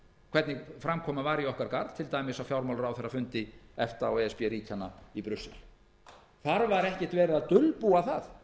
hvernig framkoman var í okkar garð til dæmis á fjármálaráðherrafundi efta og e s b ríkjanna í brussel þar var ekkert verið að dulbúa það